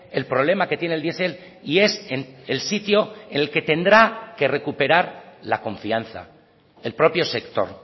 el problema que tiene el diesel y es el sitio el que tendrá que recuperar la confianza el propio sector